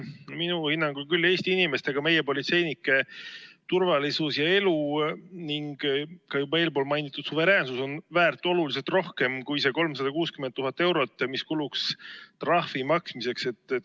Minu hinnangul küll Eesti inimeste ja ka meie politseinike turvalisus ja elu ning ka juba eelpool mainitud suveräänsus on väärt oluliselt rohkem kui 360 000 eurot, mis kuluks trahvi maksmiseks.